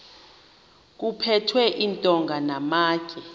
kuphethwe iintonga namatye